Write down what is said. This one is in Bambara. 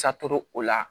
Satɔro o la